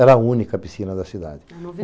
Era a única piscina da cidade.